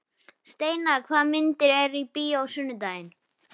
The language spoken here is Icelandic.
Steinar, hvaða myndir eru í bíó á sunnudaginn?